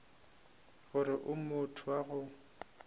gore o motho wa go